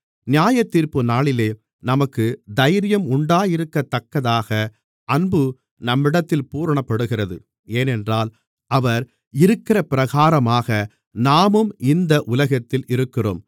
நியாயத்தீர்ப்புநாளிலே நமக்கு தைரியம் உண்டாயிருக்கத்தக்கதாக அன்பு நம்மிடத்தில் பூரணப்படுகிறது ஏனென்றால் அவர் இருக்கிறபிரகாரமாக நாமும் இந்த உலகத்தில் இருக்கிறோம்